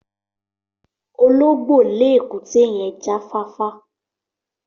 Ológbó le èkúté yen jafáfá